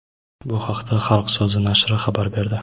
Bu haqda "Xalq so‘zi" nashri xabar berdi.